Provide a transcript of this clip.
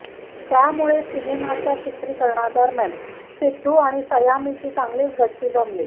त्यामुळे सिनेमाच्या चित्रीकरणादरम्यान सिद्धू आणि सैयामीची चांगलीच गट्टी जमली